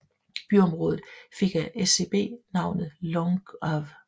Byområdet fik af SCB navnet Långav